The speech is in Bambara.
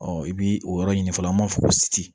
i bi o yɔrɔ ɲini fɔlɔ an b'a fɔ ko